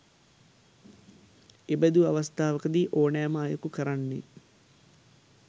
එබඳු අවස්ථාවක දී ඕනෑ ම අයකු කරන්නේ